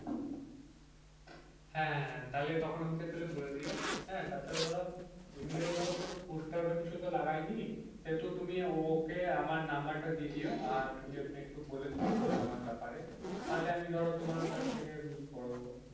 হ্যাঁ তখন তাহলে আমাকে বলে দিও হ্যাঁ তাছাড়া ধরো এমনিতে ধরো পোস্টার বা কোনো কিছু তো লাগাইনি সেহেতু তুমি ওকে আমার number দিয়ে দিও আর ওকে তুমি একটু বলে দিও যে আমার ব্যাপারে তাহলে আমি ধরো তোমার কাছ থেকে আমি করে দেব.